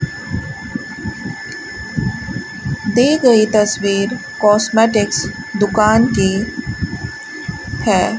दी गई तस्वीर कॉस्मेटिक्स दुकान की है।